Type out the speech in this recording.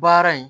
Baara in